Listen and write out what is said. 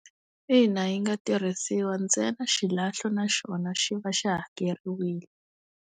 Ina yi nga tirhisiwa, ntsena xilahlo na xona xi va xi hakeriwile.